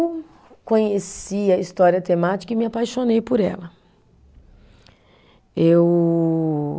Conheci a história temática e me apaixonei por ela. Eu